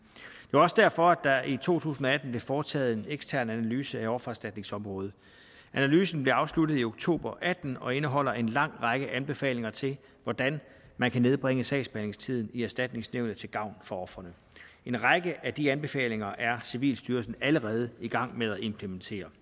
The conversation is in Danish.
var også derfor at der i to tusind og atten blev foretaget en ekstern analyse af offererstatningsområdet analysen blev afsluttet i oktober og atten og indeholder en lang række anbefalinger til hvordan man kan nedbringe sagsbehandlingstiden i erstatningsnævnet til gavn for ofrene en række af de anbefalinger er civilstyrelsen allerede i gang med at implementere